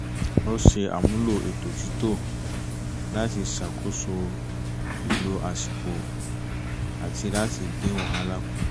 ó ṣe àmúlò ètò títò láti ṣàkóso ìlò àsìkò àti láti dín wàhálà kù